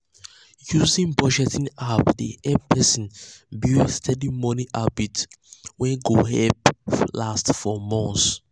using budgeting app dey um help person build steady um money habit wey um go last for months.